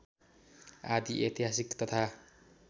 आदि ऐतिहासिक तथा